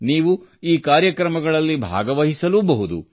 ನೀವು ಈ ಕಾರ್ಯಕ್ರಮಗಳಲ್ಲಿ ಭಾಗವಹಿಸಲೂಬಹುದು